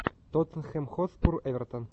тоттенхэм хотспур эвертон